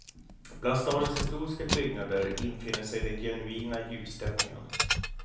Bland stadens historiska byggnader infinner sig den genuina julstämningen.